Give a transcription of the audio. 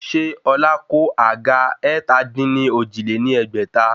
Ṣé Ọlá kó àga ẹ̀ta-dín-ní-ojì lé ní ẹgbẹ́ta?